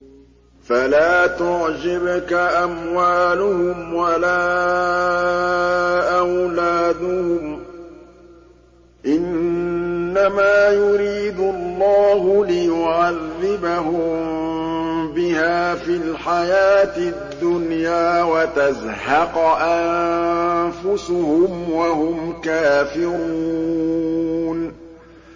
فَلَا تُعْجِبْكَ أَمْوَالُهُمْ وَلَا أَوْلَادُهُمْ ۚ إِنَّمَا يُرِيدُ اللَّهُ لِيُعَذِّبَهُم بِهَا فِي الْحَيَاةِ الدُّنْيَا وَتَزْهَقَ أَنفُسُهُمْ وَهُمْ كَافِرُونَ